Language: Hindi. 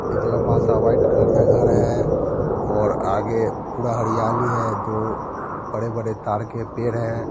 एक लंबा सा व्हाइट कलर का घर है और आगे पूरा हरियाली है | दो बड़े -बड़े ताड़ के पेड़ हैं ।